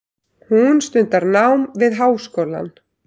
Hún stundar nám við háskólann.